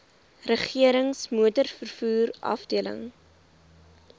regerings motorvervoer afdeling